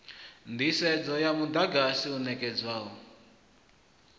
nḓisedzo ya muḓagasi u ṋekedzwaho